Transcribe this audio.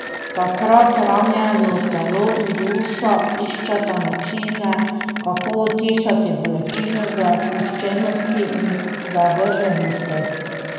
Takrat ranjeno telo in duša iščeta načine, kako utišati bolečino zapuščenosti in zavrženosti.